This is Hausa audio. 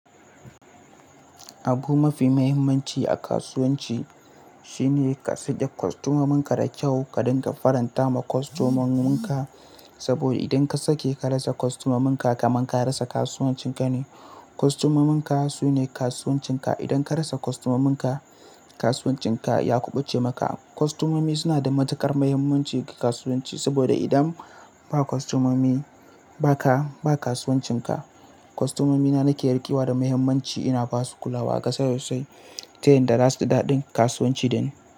Abu mafi muhimmanci a kasuwanci shine ka sad'a kostomominka da kyau, ka dinga faranta ma kostomominka. Saboda idan ka sake ka rasa kostomominka, kamar ka rasa kasuwancinka ne. Kostomominka sune kasuwancinka. Idan ka rasa kostomominka, kasuwancinka ya kubuce maka. Kostomomi suna da matukar muhimmanci ga kasuwanci. Saboda idan ba kostomomi ba ka, ba kasuwancinka. Kostomomina nake yarda kewa da muhimmanci, ina ba su kulawa a ƙasa sosai ta yin da ras da daɗin kasuwanci dani.